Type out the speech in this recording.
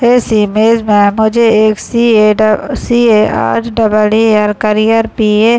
इस इमेज में मुझे एक C A. Dub C. Uh double R carrier P. A. --